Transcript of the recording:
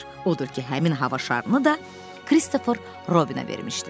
Odur ki, həmin hava şarını da Christopher Robinə vermişdilər.